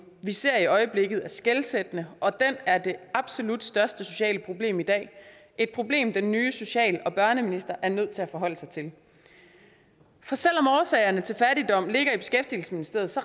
vi ser i øjeblikket skelsættende og den er det absolut største sociale problem i dag et problem den nye social og børneminister er nødt til at forholde sig til for selv om årsagerne til fattigdom ligger i beskæftigelsesministeriet